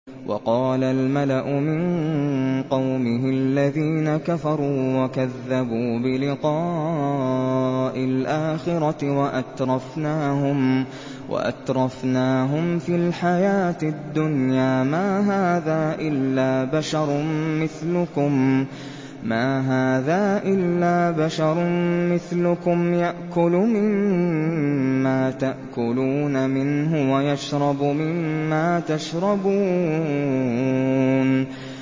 وَقَالَ الْمَلَأُ مِن قَوْمِهِ الَّذِينَ كَفَرُوا وَكَذَّبُوا بِلِقَاءِ الْآخِرَةِ وَأَتْرَفْنَاهُمْ فِي الْحَيَاةِ الدُّنْيَا مَا هَٰذَا إِلَّا بَشَرٌ مِّثْلُكُمْ يَأْكُلُ مِمَّا تَأْكُلُونَ مِنْهُ وَيَشْرَبُ مِمَّا تَشْرَبُونَ